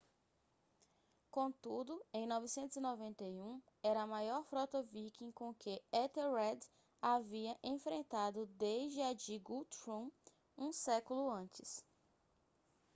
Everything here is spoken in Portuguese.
contudo em 991 era a maior frota viking com que ethelred havia enfrentado desde a de guthrum um século antes